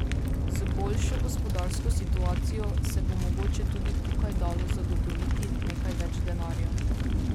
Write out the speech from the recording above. Z boljšo gospodarsko situacijo se bo mogoče tudi tukaj dalo zagotoviti nekaj več denarja.